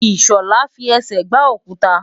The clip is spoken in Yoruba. Ìṣọ̀lá fi ẹsẹ̀ gbá òkuta.